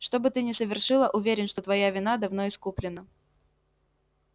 что бы ты ни совершила уверен что твоя вина давно искуплена